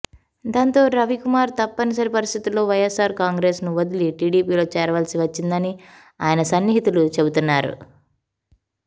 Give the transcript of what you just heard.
దాంతో రవికుమార్ తప్పనిసరి పరిస్థితిలో వైఎస్ ఆర్ కాంగ్రెస్ ను వదలి టిడిపిలో చేరవలసి వచ్చిందని ఆయన సన్నిహితులు చెబుతన్నారు